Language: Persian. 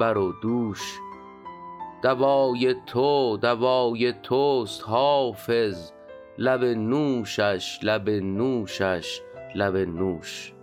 بر و دوش دوای تو دوای توست حافظ لب نوشش لب نوشش لب نوش